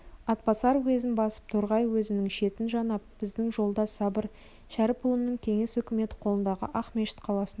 атбасар уезін басып торғай уезінің шетін жанап біздің жолдас сабыр шәріпұлының кеңес үкіметі қолындағы ақмешіт қаласына өтіп